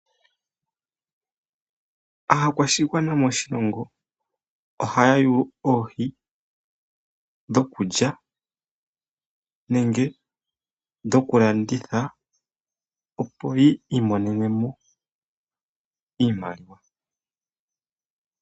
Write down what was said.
Aakwashigwana moshilongo ohaya yulu oohi dhokulya nenge dhokulanditha opo yi imonene mo iimaliwa.